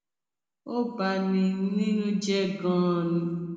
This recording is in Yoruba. ó bá ní nínú jẹ ganan ni